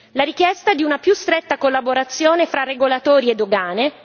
la richiesta di una più stretta collaborazione fra regolatori e dogane